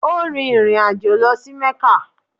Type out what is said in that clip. Ó rin ìrìn àjọ̀ lọ sí Mẹ́kà.